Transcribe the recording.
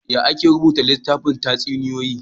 Yaya ake rubuta littafin tatsuniyoyi?